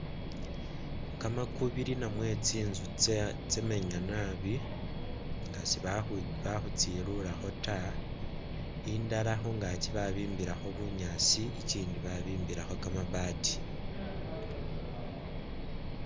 Kamakubili namwe tsinzu tsya tsamenya nabi nga siba ba khutsiluulakho ta, indala khungaaki babimbilakho bunyaasi, ikindi babimbilakho kamati.